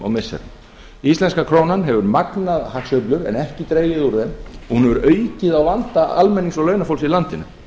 og missirum íslenska krónan hefur magnað hagsveiflur en ekki dregið úr þeim og hún hefur aukið á vanda almennings og launafólks í landinu